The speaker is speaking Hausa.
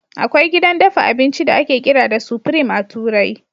Akwai gidan dafa abinci da ake kira da Supreme a turai.